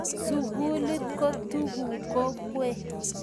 sukulit ko tuku kokwee